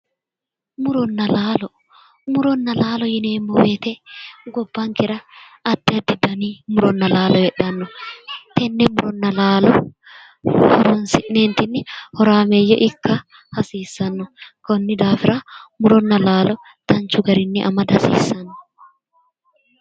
Muronna laalo murona laalo yineemmo woyiite gobbankera addi addi dani murinna laalo heedhanno tenne muronna laalo horonsi'neentinni horameeyye ikka hasiissanno konni daafira muronna laalo danchu garinni amada hasiissanno